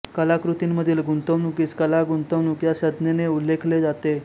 कलाकृतींमधील गुंतवणुकीस कला गुंतवणूक या संज्ञेने उल्लेखले जाते